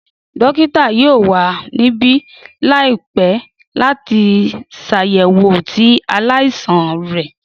Dókítà yoo wa nibi laipẹ lati ṣayẹwo ti alaisan rẹ.